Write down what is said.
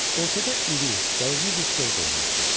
Ortada iri, dəyirmi bir stol qoyulmuşdu.